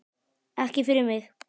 Ekki fyrir mig!